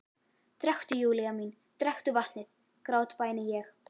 Drekktu, Júlía mín, drekktu vatnið, grátbæni ég.